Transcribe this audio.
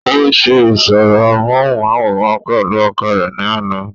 ó se ìsọ̀rọ̀ móhùnmáwòrán pẹ̀lú ọkọ rẹ̀ ní àná